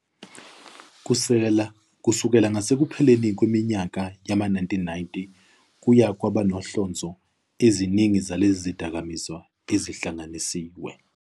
Kusukela ngasekupheleni kweminyaka yama-1990 kuye kwaba nokuhlonza eziningi zalezi zidakamizwa ezihlanganisiwe.